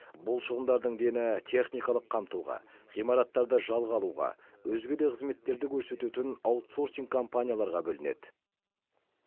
бұл шығындардың дені техникалық қамтуға ғимараттарды жалға алуға өзге де қызметтерді көрсететін аутсорсинг компанияларға бөлінеді